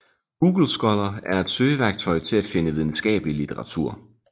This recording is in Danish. Google Scholar er et søgeværktøj til at finde videnskabelig litteratur